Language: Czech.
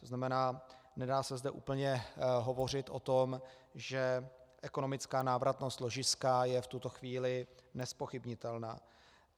To znamená, nedá se zde úplně hovořit o tom, že ekonomická návratnost ložiska je v tuto chvíli nezpochybnitelná.